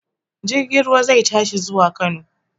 Jirgin ruwa zai tashi zuwa Kano.